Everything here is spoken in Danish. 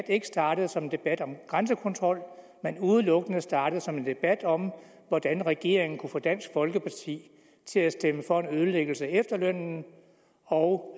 ikke startede som en debat om grænsekontrol men udelukkende startede som en debat om hvordan regeringen kunne få dansk folkeparti til at stemme for en ødelæggelse af efterlønnen og